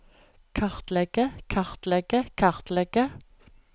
kartlegge kartlegge kartlegge